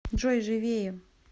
джой живее